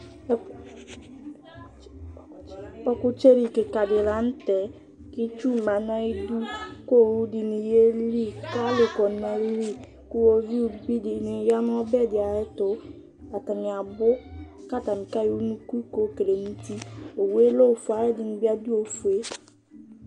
ɔkʊtsɛ kika dɩ li lanʊtɛ, kʊ itsu ma nʊ ayidu, kʊ owu dɩnɩ yeli, alʊ dʊ atami li, kʊ iwoviu dɩnɩ ya nʊ ɔbɛ dɩ ay'ɛtʊ, atanɩ abʊ, kʊ atanɩ ayɔ unuku ka buadʊ nʊ uti, owu yɛ lɛ ofue kʊ aluɛdɩnɩ dʊ ayili